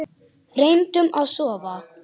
Reyndum að sofna.